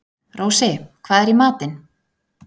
Rósi, hvað er í matinn?